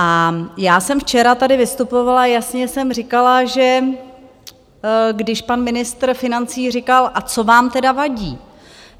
A já jsem včera tady vystupovala, jasně jsem říkala, že když pan ministr financí říkal, a co vám tedy vadí?